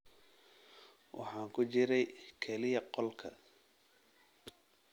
Waxaan ku jiray kaliya qolka